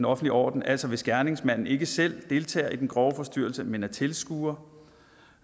orden orden altså hvis gerningsmanden ikke selv deltager i den grove forstyrrelse men er tilskuer